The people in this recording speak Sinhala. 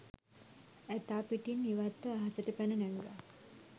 ඇතා පිටින් ඉවත්ව අහසට පැන නැංගා